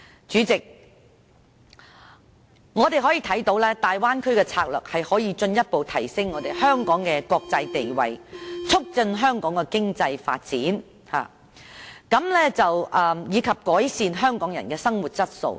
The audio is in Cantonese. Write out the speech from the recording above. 主席，我們看到大灣區的策略可以進一步提升香港的國際地位，促進香港的經濟發展，以及改善香港人的生活質素。